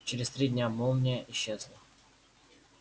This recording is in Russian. через три дня молния исчезла